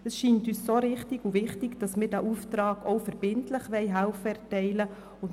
Dies scheint uns richtig und wichtig, weshalb wir diesen Auftrag auch verbindlich erteilen wollen.